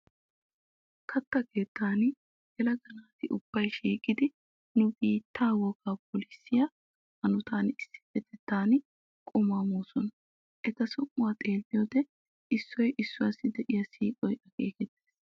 Katta keettan yelaga naati ubbay shiiqidi nu biittaa wogaa phoolissiya hanotan issippetettan qumaa moosona. Eta som"uwa xeelliyoode issoy issuwawu diya siiqoy akeekettes.